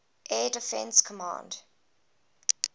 air defense command